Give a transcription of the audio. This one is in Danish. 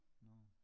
Nårh